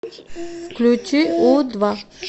включи у два